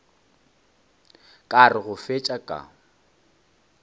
ka re go fetša ka